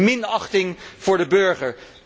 Het is minachting voor de burger.